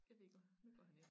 Jeg ved ikke om nu går han ind